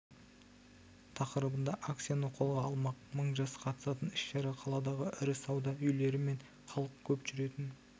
тақырыбында акцияны қолға алмақ мың жас қатысатын іс-шара қаладағы ірі сауда үйлері мен халық көп жүретін